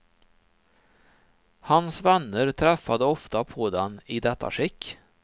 Hans vänner träffade ofta på den i detta skick.